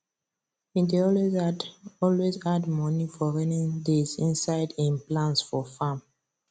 e dey always add always add money for raining days inside him plans for farm